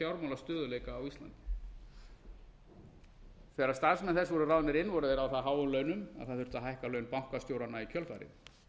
fjármálastöðugleika á íslandi þegar starfsmenn þess voru ráðnir inn voru þeir á það háum launum að það þurfti að hækka laun bankastjóranna í kjölfarið